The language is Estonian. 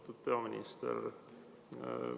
Austatud peaminister!